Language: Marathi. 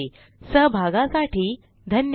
सहभागासाठी धन्यवाद